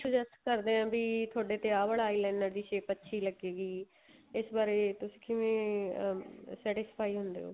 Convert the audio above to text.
suggest ਕਰਦੇ ਆ ਵੀ ਤੁਹਾਡੇ ਤੇ ਆ ਵਾਲਾ eyeliner ਦੀ shape ਅੱਛੀ ਲੱਗੇਗੀ ਇਸ ਬਾਰੇ ਤੁਸੀਂ ਕਿਵੇਂ satisfy ਹੁੰਦੇ ਓ